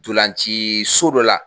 Dolanci so dɔ la